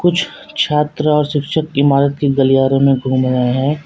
छात्र और शिक्षक इमारत की गलियारों में घूम रहे हैं।